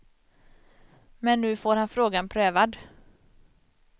Men nu får han frågan prövad.